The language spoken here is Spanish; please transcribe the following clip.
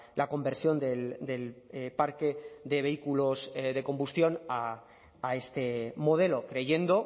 la conversión del parque de vehículos de combustión a este modelo creyendo